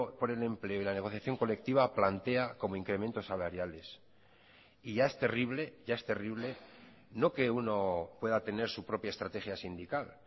por el empleo y la negociación colectiva plantea como incrementos salariales y ya es terrible ya es terrible no que uno pueda tener su propia estrategia sindical